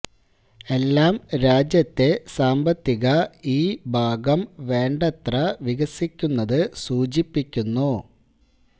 എല്ലാം രാജ്യത്തെ സാമ്പത്തിക ഈ ഭാഗം വേണ്ടത്ര വികസിക്കുന്നത് സൂചിപ്പിക്കുന്നു